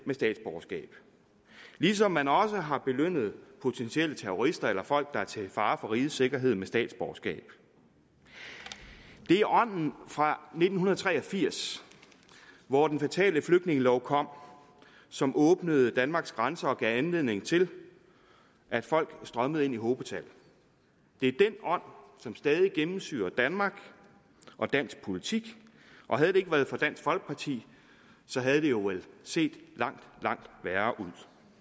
et statsborgerskab ligesom man også har belønnet potentielle terrorister eller folk der er til fare for rigets sikkerhed med et statsborgerskab det er ånden fra nitten tre og firs hvor den fatale flygtningelov kom som åbnede danmarks grænser og gav anledning til at folk strømmede ind i hobetal det er den ånd som stadig gennemsyrer danmark og dansk politik og havde det ikke været for dansk folkeparti havde det jo set langt langt værre ud